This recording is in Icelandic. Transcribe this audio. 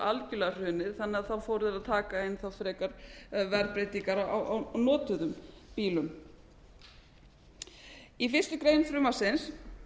algjörlega hrunið þannig að þá fóru þeir að taka inn þá frekar verðbreytingar á notuðum bílum í fyrstu grein frumvarpsins